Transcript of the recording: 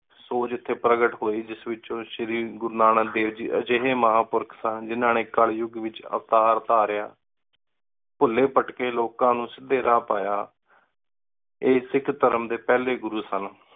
ਸੋਚ ਏਥੀ ਪਰ੍ਘਾਤ ਹੋਈ ਜਿਸ ਏਚ ਸ਼੍ਰੀ ਗੁਰੂ ਨਾਨਕ ਦੇਵ ਗੀ ਅਜੇਹ ਮਹਾ ਪੁਰਖ ਸਨ ਜਿੰਨਾ ਨੀ ਕਲਯੁਗ ਏਚ ਅਵਤਾਰ ਉਤਾਰਯ ਭੂਲੀ ਭਟਕੀ ਲੋਕਾਂ ਨੌ ਸੀਧੀ ਰਾਹ ਪਾਯਾ ਆਯ ਸਿਖ ਧਰਮ ਡੀ ਪਹਲੀ ਗੁਰੂ ਸਨ